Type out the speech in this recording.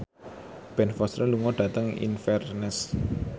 Ben Foster lunga dhateng Inverness